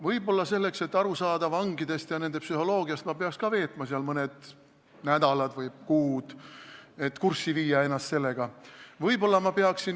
Võib-olla selleks, et aru saada vangidest ja nende psühholoogiast, peaks ma veetma ka seal mõned nädalad või kuud, et ennast sellega kurssi viia.